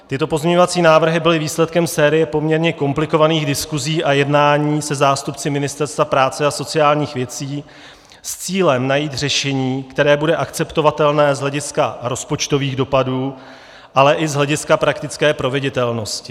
Tyto pozměňovací návrhy byly výsledkem série poměrně komplikovaných diskusí a jednání se zástupci Ministerstva práce a sociálních věcí s cílem najít řešení, které bude akceptovatelné z hlediska rozpočtových dopadů, ale i z hlediska praktické proveditelnosti.